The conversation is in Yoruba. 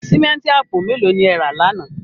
Símẹ́ǹtì àpò mẹ́lò ni e ẹ̀ rà láńà?